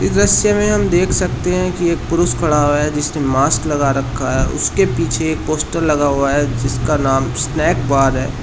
दृश्य में हम देख सकते हैं कि एक पुरुष खड़ा हुआ है जिससे मास्क लगा रखा है उसके पीछे एक पोस्टर लगा हुआ है जिसका नाम स्नैक बार है।